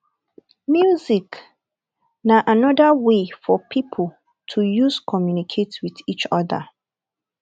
music na anoda wey for pipo to use communicate with each other